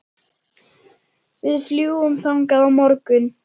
Við fljúgum þangað á morgun.